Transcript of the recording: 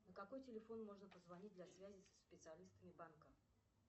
на какой телефон можно позвонить для связи со специалистами банка